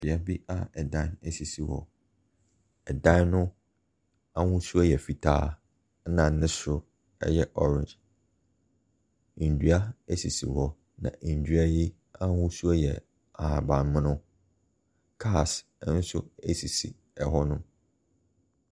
Beaeɛ bi a ɛdan sisi hɔ. Ɛdan no ahosuo yɛ fitaa, ɛna ne soro yɛ orange. Nnua sisi hɔ, na nnua yi ahosuo yɛ ahabammono, cars nso sisi ɛhɔ no.